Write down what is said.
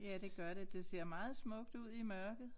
Ja det gør det det ser meget smukt ud i mørket